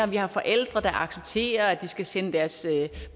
der er forældre der accepterer at de skal sende deres